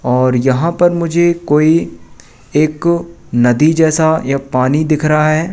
और यहां पर मुझे कोई एक नदी जैसा या पानी दिख रहा है।